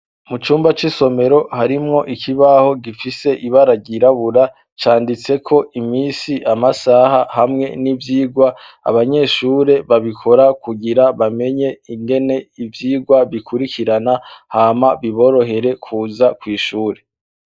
Mu cumba c'isomero harimwo ikibaho gifise ibararyirabura canditse ko imisi amasaha hamwe n'ivyirwa abanyeshure babikora kugira bamenye ingene ivyigwa bikurikirana hama biborohere kuza kw'ishure.